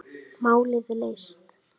Málið leyst.